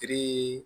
Tirii